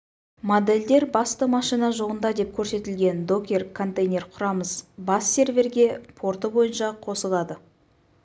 модельдер басты машина жолында деп көрсетілген докер контейнер құрамыз бас серверге порты бойынша қосылады